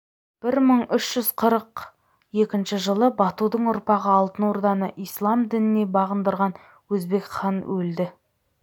бір мың үш жүз қырық екінші жылы батудың ұрпағы алтын орданы ісләм дініне бағындырған өзбек хан өлді